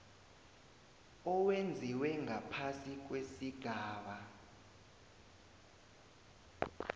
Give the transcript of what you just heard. owenziwe ngaphasi kwesigaba